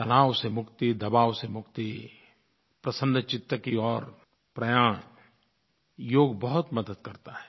तनाव से मुक्ति दबाव से मुक्ति प्रसन्न चित्त की ओर प्रयाण योग बहुत मदद करता है